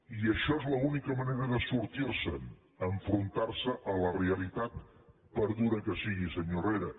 i això és l’única manera de sortir se’n enfrontar se a la realitat per dura que sigui senyor herrera